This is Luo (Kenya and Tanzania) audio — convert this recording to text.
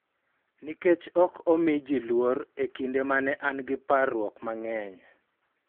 Nikech ok omi ji luor e kinde ma ne an gi parruok mang�eny